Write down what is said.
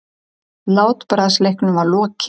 Látbragðsleiknum var lokið.